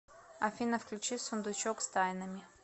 афина включи сундучок с тайнами